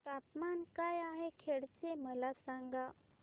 तापमान काय आहे खेड चे मला सांगा